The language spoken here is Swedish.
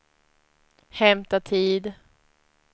hämta tid